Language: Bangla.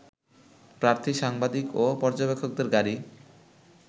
প্রার্থী, সাংবাদিক ও পর্যবেক্ষকদের গাড়ি